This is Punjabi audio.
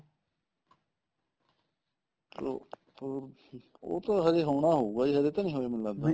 ਉਹ ਉਹ ਉਹ ਤਾਂ ਹਜੇ ਹੋਣਾ ਹੋਊਗਾ ਹਜੇ ਤਾਂ ਨੀ ਹੋਏ ਮੈਨੂੰ ਲੱਗਦਾ